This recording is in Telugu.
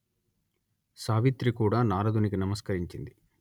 సావిత్రి కూడా నారదునికి నమస్కరించింది